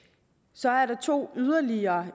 så er der to yderligere